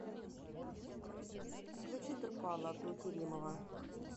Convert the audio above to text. включи турпала абдулкеримова